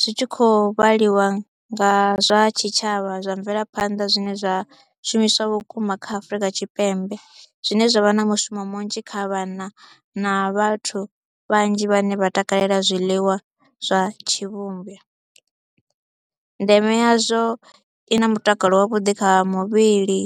zwi tshi khou vhaliwa nga zwa tshitshavha zwa mvelaphanḓa zwine zwa shumiswa vhukuma kha Afrika Tshipembe zwine zwa vha na mushumo munzhi kha vhana na vhathu vhanzhi vhane vha takalela zwiḽiwa zwa tshivhumbi. Ndeme yazwo i na mutakalo wavhuḓi kha muvhili.